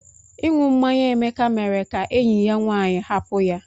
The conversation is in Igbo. Inu mmanya Emeka mere ka enyi ya nwanyị hapụ ya.